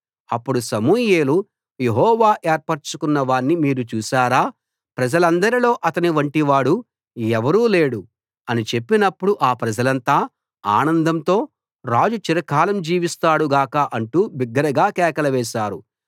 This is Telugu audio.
అప్పుడు సమూయేలు యెహోవా ఏర్పరచుకున్నవాణ్ణి మీరు చూశారా ప్రజలందరిలో అతని వంటివాడు ఎవరూ లేడు అని చెప్పినప్పుడు ఆ ప్రజలంతా ఆనందంతో రాజు చిరకాలం జీవిస్తాడు గాక అంటూ బిగ్గరగా కేకలు వేశారు